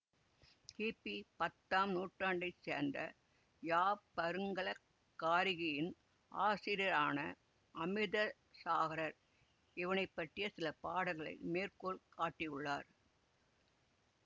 கிபிபத்தாம் நூற்றாண்டை சேர்ந்த யாப்பருங்கல காரிகையின் ஆசிரியரான அமிர்த சாகரர் இவனைப்பற்றிய சில பாடல்களை மேற்கோள் காட்டியுள்ளார்